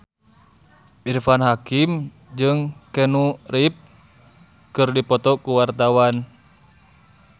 Irfan Hakim jeung Keanu Reeves keur dipoto ku wartawan